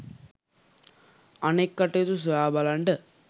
අනෙත් කටයුතු සොයා බලන්ඩ